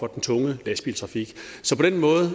den tunge lastbiltrafik